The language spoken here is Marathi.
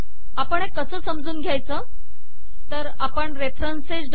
आपण हे कसे समजून घेयच तर आपण रेफरन्स